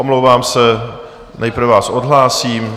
Omlouvám se, nejprve vás odhlásím.